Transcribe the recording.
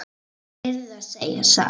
Ég yrði að segja satt.